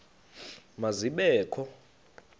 ma zibe kho